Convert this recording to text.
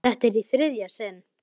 Þetta er í þriðja sinn.